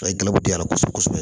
A ye di ala kosɛbɛ